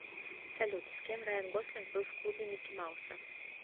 салют с кем райан гослинг был в клубе микки мауса